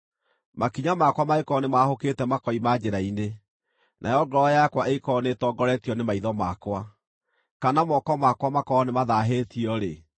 makinya makwa mangĩkorwo nĩmahũkĩte makoima njĩra-inĩ, nayo ngoro yakwa ĩngĩkorwo nĩĩtongoretio nĩ maitho makwa, kana moko makwa makorwo nĩmathaahĩtio-rĩ,